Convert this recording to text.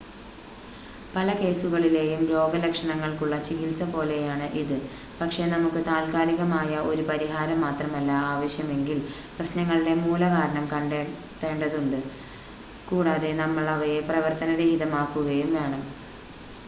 പല കേസുകളിലെയും രോഗലക്ഷണങ്ങൾക്കുള്ള ചികിത്സ പോലെയാണ് ഇത് പക്ഷേ നമുക്ക് താത്ക്കാലികമായ ഒരു പരിഹാരം മാത്രമല്ല ആവശ്യമെങ്കിൽ പ്രശ്നങ്ങളുടെ മൂലകാരണം കണ്ടെത്തേണ്ടതുണ്ട് കൂടാതെ നമ്മൾ അവയെ പ്രവർത്തന രഹിതമാക്കുകയും വേണം